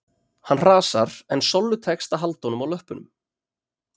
Hann hrasar en Sollu tekst að halda honum á löppunum